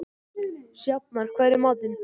Sjafnar, hvað er í matinn?